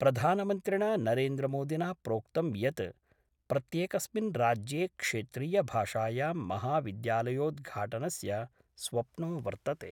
प्रधानमन्त्रिणा नरेन्द्रमोदिना प्रोक्तं यत् प्रत्येकस्मिन् राज्ये क्षेत्रीयभाषायां महाविद्यालयोद्घाटनस्य स्वप्नो वर्तते।